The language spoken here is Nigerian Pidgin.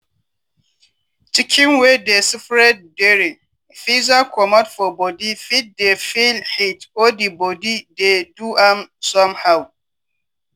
chicken wey dey spread dere feather comot for body fit dey feel heat or di body dey do am somehow.